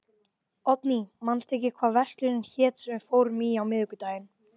Oddný, manstu hvað verslunin hét sem við fórum í á miðvikudaginn?